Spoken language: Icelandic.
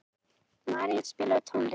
Marían, spilaðu tónlist.